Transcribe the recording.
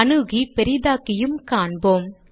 அணுகி பெரிதாக்கியும் காண்போம்